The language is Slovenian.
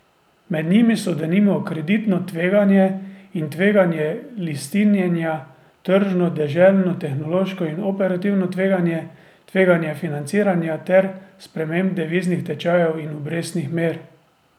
Med njimi so denimo kreditno tveganje in tveganje listinjenja, tržno, deželno, tehnološko in operativno tveganje, tveganje financiranja ter sprememb deviznih tečajev in obrestnih mer.